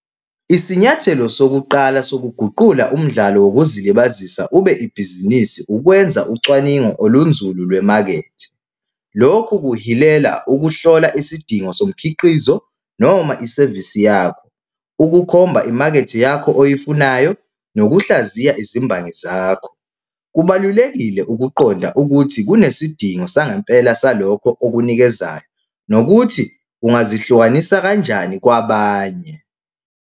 Isinyathelo sokuqala sokuguqula umdlalo wokuzilibazisa ube ibhizinisi ukwenza ucwaningo olunzulu lwemakethe. Lokhu kuhilela ukuhlola isidingo somkhiqizo noma isevisi yakho. Ukukhomba imakethe yakho oyifunayo nokuhlaziya izimbangi zakho. Kubalulekile ukuqonda ukuthi kunesidingo sangempela salokho okunikezayo nokuthi ungazihlukanisa kanjani kwabanye.